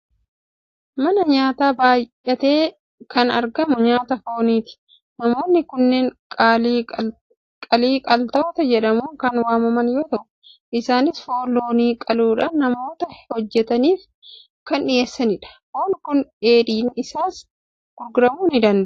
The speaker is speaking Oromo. Mana nyaataa baay'eetti kan argamu nyaata fooniiti. Namoonni kunneen qalii qaltoota jedhamuun kan waamaman yoo ta'u, isaanis foon loonii qaluudhaan namoota hojjetaniif kan dhiyeessanidha. Foon kun dheeedhiin isaas gurguramuu ni danda'a.